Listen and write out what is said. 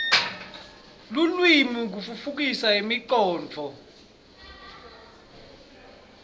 lulwimi kutfutfukisa imicondvo